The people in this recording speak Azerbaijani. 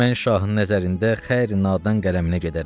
Mən şahın nəzərində xəyri nadan qələminə gedərəm.